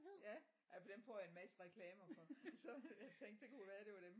Ja ja for dem får jeg en masse reklamer for så jeg tænkte det kunne være det var dem